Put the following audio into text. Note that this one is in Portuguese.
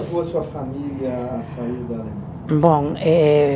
A sua família a sair da Alemanha? Bom, eh